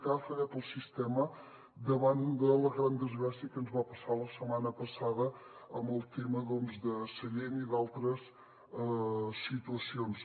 que ha fallat el sistema davant de la gran desgràcia que ens va passar la setmana passada amb el tema doncs de sallent i d’altres situacions